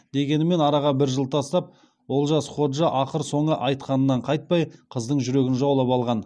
дегенімен араға бір жыл тастап олжас ходжа ақыр соңы айтқанынан қайтпай қыздың жүрегін жаулап алған